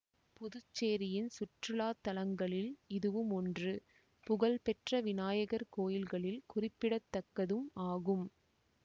புதுச்சேரியின் சுற்றுலா தலங்களில் இதுவும் ஒன்று புகழ் பெற்ற விநாயகர் கோயில்களில் குறிப்பிடத்தக்கதும் ஆகும்